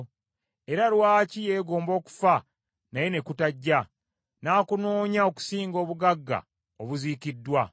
era lwaki yeegomba okufa naye ne kutajja, n’akunoonya okusinga obugagga obuziikiddwa,